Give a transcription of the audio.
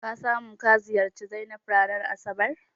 Ka samu ka ziyarci Zainab ranar asabar?